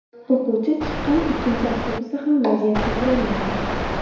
O‘quvchi chiqqan ikkinchi avtobusda ham vaziyat takrorlangan.